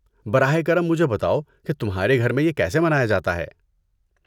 براہِ کرم مجھے بتاؤ کہ تمہارے گھر میں یہ کیسے منایا جاتا ہے؟